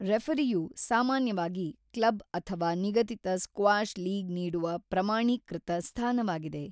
ರೆಫರಿಯು ಸಾಮಾನ್ಯವಾಗಿ ಕ್ಲಬ್ ಅಥವಾ ನಿಗದಿತ ಸ್ಕ್ವಾಷ್ ಲೀಗ್ ನೀಡುವ ಪ್ರಮಾಣೀಕೃತ ಸ್ಥಾನವಾಗಿದೆ.